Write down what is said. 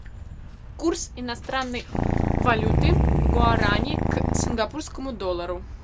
курс иностранной валюты гуарани к сингапурскому доллару